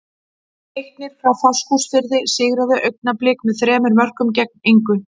Leiknir frá Fáskrúðsfirði sigraði Augnablik með þremur mörkum gegn engu.